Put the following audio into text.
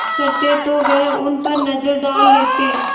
करते तो वह उन पर नज़र डाल लेते